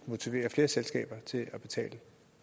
motivere flere selskaber til at betale